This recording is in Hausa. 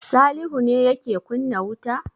Salihu yake kunna wuta?